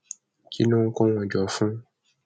kí ló ń kó wọn jọ fún